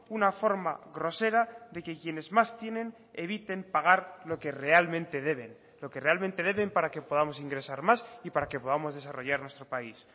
una forma grosera de que quienes más tienen eviten pagar lo que realmente deben lo que realmente deben para que podamos ingresar más y para que podamos desarrollar nuestro país